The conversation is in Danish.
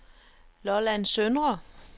Lolland Søndre